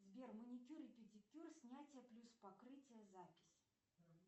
сбер маникюр и педикюр снятие плюс покрытие запись